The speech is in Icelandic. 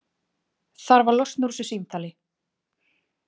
Þarf að losna úr þessu símtali.